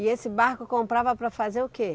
E esse barco comprava para fazer o quê?